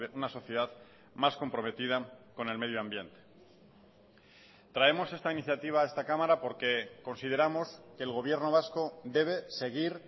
una sociedad más comprometida con el medio ambiente traemos esta iniciativa a esta cámara porque consideramos que el gobierno vasco debe seguir